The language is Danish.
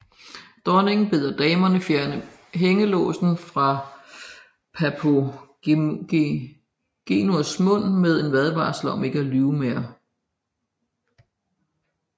Dronningen beder damerne fjerne hængelåsen fra Papagenos mund med en advarsel om ikke at lyve mere